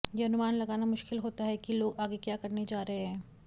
यह अनुमान लगाना मुश्किल होता है कि लोग आगे क्या करने जा रहे हैं